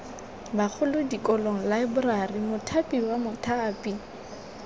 bagolo dikolo laeborari mothapiwa mothapi